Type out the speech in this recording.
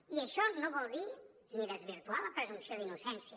i això no vol dir ni desvirtuar la presumpció d’innocència